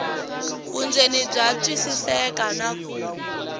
vundzeni bya twisiseka na ku